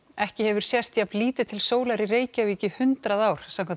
ekki hefur sést jafn lítið til sólar í Reykjavík í hundrað ár samkvæmt